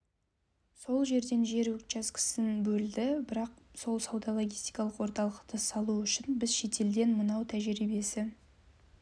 сол жерден жер учаскесін бөлді бірақ сол сауда-логистикалық орталықты салу үшін біз шетелден мынау тәжірибесі